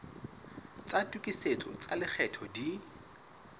tsa tokisetso tsa lekgetho di